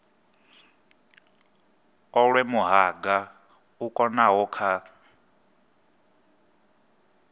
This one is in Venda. olwe muhanga u konaho kha